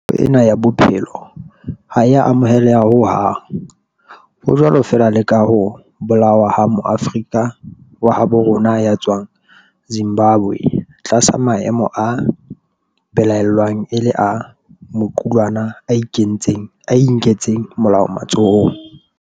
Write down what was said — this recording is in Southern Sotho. Tahlehelo ena ya bophelo ha e a amoheleha ho hang, ho jwalo feela le ka ho bolawa ha Moafrika wa habo rona ya tswang Zimbabwe tlasa maemo a belaellwang e le a maqulwana a inketseng molao matsohong.